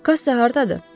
Kassa hardadır?